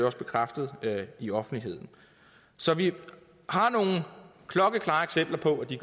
også bekræftet i offentligheden så vi har nogle klokkeklare eksempler på at de